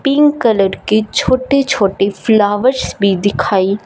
pink colour के छोटे छोटे फ्लावर्स भी दिखाई--